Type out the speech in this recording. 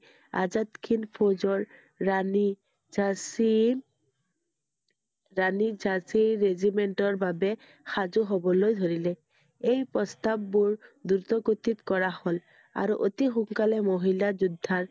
আজাদ হিন্দ ফৌজৰ ৰাণী ঝান্সী~ৰাণী ঝান্সী regiment ৰ বাবে সাজু হবলৈ ধৰিলে। এই প্ৰস্তাৱবোৰ দ্ৰুত গতিত কৰা হ'ল। আৰু অতি সোনকালে মহিলা যোদ্ধা